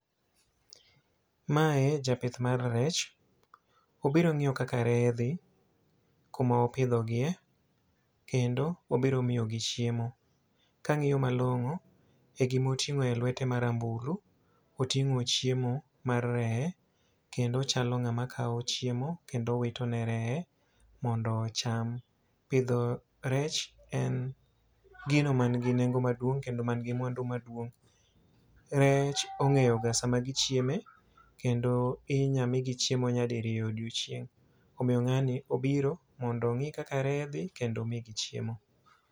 Mae japith mar rech. Obiro ngíyo kaka reye dhi, kuma opidho gie, kendo obiro miyo gi chiemo. Ka angíyo malongó, e gima otingó e lwete ma rambulu, otingó chiemo mar reye, kendo ochalo ngáma kawo chiemo, kendo wito ne reye mondo ocham. Pidho rech en gino ma nigi nengo maduong' kendo manigi mwandu maduong'. Rech ongéyo ga sama gichieme. Kendo inya migi chiemo nyadiriyo odiechieng'. Omiyo ngáni obiro mondo ongí kaka reye dhi, kendo omigi chiemo.